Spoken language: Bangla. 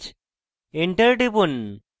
enter টিপুন